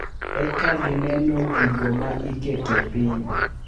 Eka gineno gigo ma iketo piny.